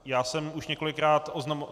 Já jsem už několikrát oznamoval...